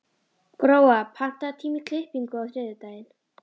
Gróa, pantaðu tíma í klippingu á þriðjudaginn.